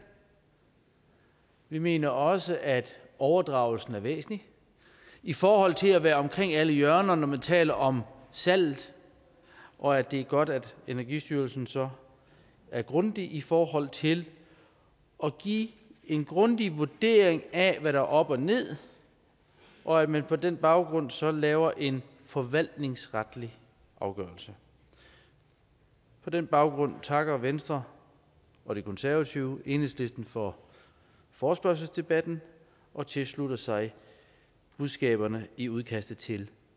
vi mener også at overdragelsen er væsentlig i forhold til at være omkring alle hjørnerne når man taler om salget og at det er godt at energistyrelsen så er grundig i forhold til at give en grundig vurdering af hvad der er op og ned og at man på den baggrund så laver en forvaltningsretlig afgørelse på den baggrund takker venstre og de konservative enhedslisten for forespørgselsdebatten og tilslutter sig budskaberne i udkastet til